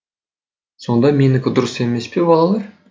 сонда менікі дұрыс емес пе балалар